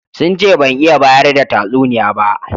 Sun ce ban iya bayar da tatsuniya ba.